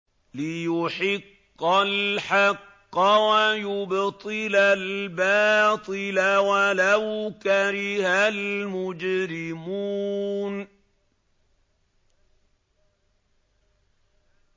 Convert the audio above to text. لِيُحِقَّ الْحَقَّ وَيُبْطِلَ الْبَاطِلَ وَلَوْ كَرِهَ الْمُجْرِمُونَ